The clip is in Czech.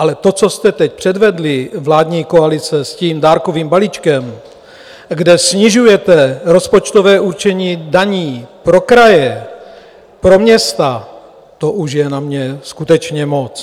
Ale to, co jste teď předvedli, vládní koalice, s tím dárkovým balíčkem, kde snižujete rozpočtové určení daní pro kraje, pro města, to už je na mě skutečně moc!